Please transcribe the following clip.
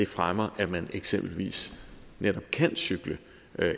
fremmer at man eksempelvis netop kan cykle